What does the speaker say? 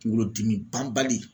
Kunkolo dimi banbali